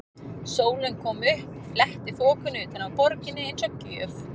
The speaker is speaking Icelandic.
Sólin kom upp, fletti þokunni utan af borginni eins og gjöf.